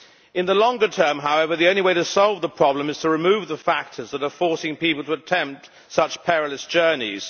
In the longer term, however, the only way to solve the problem is to remove the factors that are forcing people to attempt such perilous journeys.